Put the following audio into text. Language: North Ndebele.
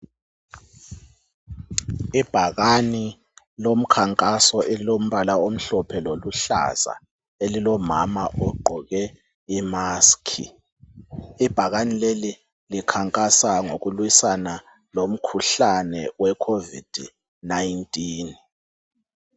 Ibhakani lomkhankaso elilombala omhlophe loluhlaza elilo mama ogqoke imasiki ibhakane leli likhankasa ngokulwisana lomkhuhlane we covid 19